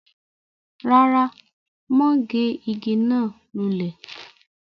rárá, mọ́ gé igi náà lulẹ̀